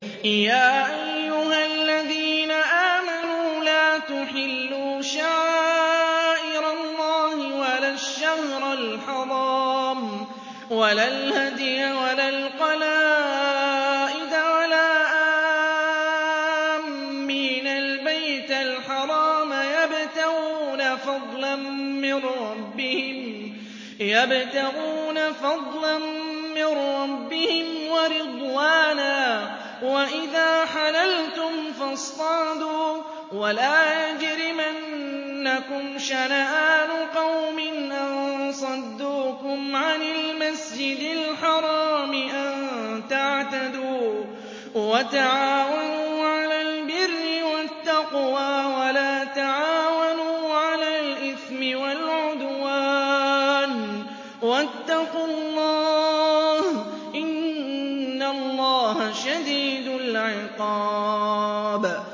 يَا أَيُّهَا الَّذِينَ آمَنُوا لَا تُحِلُّوا شَعَائِرَ اللَّهِ وَلَا الشَّهْرَ الْحَرَامَ وَلَا الْهَدْيَ وَلَا الْقَلَائِدَ وَلَا آمِّينَ الْبَيْتَ الْحَرَامَ يَبْتَغُونَ فَضْلًا مِّن رَّبِّهِمْ وَرِضْوَانًا ۚ وَإِذَا حَلَلْتُمْ فَاصْطَادُوا ۚ وَلَا يَجْرِمَنَّكُمْ شَنَآنُ قَوْمٍ أَن صَدُّوكُمْ عَنِ الْمَسْجِدِ الْحَرَامِ أَن تَعْتَدُوا ۘ وَتَعَاوَنُوا عَلَى الْبِرِّ وَالتَّقْوَىٰ ۖ وَلَا تَعَاوَنُوا عَلَى الْإِثْمِ وَالْعُدْوَانِ ۚ وَاتَّقُوا اللَّهَ ۖ إِنَّ اللَّهَ شَدِيدُ الْعِقَابِ